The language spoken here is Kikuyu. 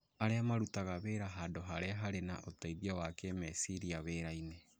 Arĩa marutaga wĩra handũ harĩa harĩ na ũteithio wa kĩĩmeciria wĩrainĩ